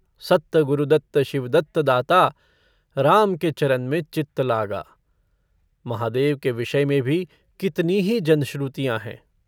सत्त गुरदत्त शिवदत्त दाता राम के चरन में चित्त लागा।' महादेव के विषय में भी कितनी ही जनश्रुतियाँ हैं।